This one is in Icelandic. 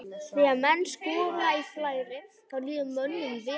Þegar menn skora í flæði að þá líður mönnum vel.